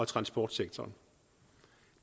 transportsektoren